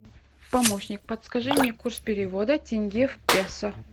помощник подскажи мне курс перевода тенге в песо